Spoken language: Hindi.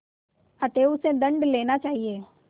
अतएव उससे दंड लेना चाहिए